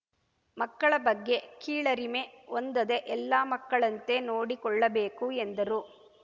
ಮಕ್ಕಳ ಬಗ್ಗೆ ಕೀಳರಿಮೆ ಹೊಂದದೆ ಎಲ್ಲ ಮಕ್ಕಳಂತೆ ನೋಡಿಕೊಳ್ಳಬೇಕು ಎಂದರು